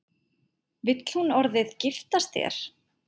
Vill hún orðið giftast þér?